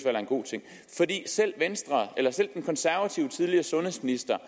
er en god ting selv den konservative tidligere sundhedsminister